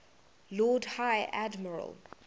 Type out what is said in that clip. lord high admiral